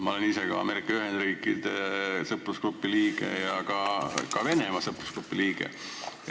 Ma olen ise Ameerika Ühendriikide sõprusgrupi liige ja ka Venemaa sõprusgrupi liige.